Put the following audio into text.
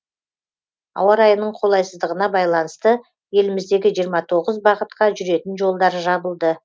ауа райының қолайсыздығына байланысты еліміздегі жиырма тоғыз бағытқа жүретін жолдар жабылды